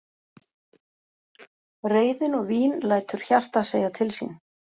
Reiðin og vín lætur hjartað segja til sín.